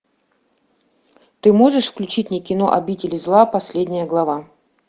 ты можешь включить мне кино обитель зла последняя глава